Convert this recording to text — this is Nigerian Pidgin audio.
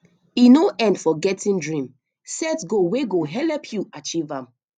e no end for getting dream set goal wey go help you achieve am